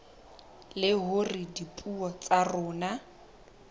le hore dipuo tsa rona